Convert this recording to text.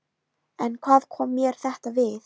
En hvað kom mér þetta við?